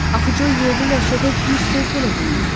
Axı Co yerli ləhçədə bir söz belə bilmir.